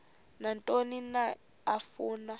nantoni na afuna